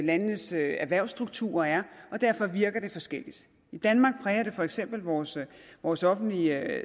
landenes erhvervsstrukturer er og derfor virker det forskelligt i danmark præger det for eksempel vores vores offentlige